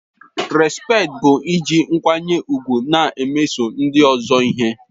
Respekti bụ iji nkwanye ùgwù na-emeso ndị ọzọ ihe.